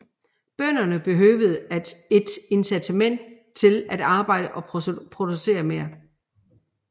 Bønderne behøvede et incitament til at arbejde og producere mere